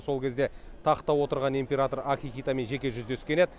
сол кезде тақта отырған император акихитомен жеке жүздескен еді